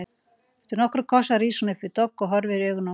Eftir nokkra kossa rís hún upp við dogg og horfir í augu honum.